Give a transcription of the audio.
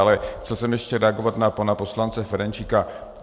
Ale chtěl jsem ještě reagovat na pana poslance Ferjenčíka.